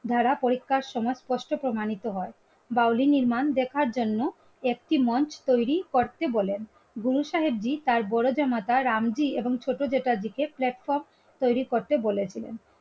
দ্বারা পরীক্ষার সংস্পর্শে প্রমাণিত হয় বাউল নির্মাণ দেখার জন্য একটি মঞ্চ তৈরি করতে বলেন গুরুসাহেবজি তার বড় জামাতা রামজি এবং ছোট জ্যাঠাজিকে platform তৈরি করতে বলেছিলেন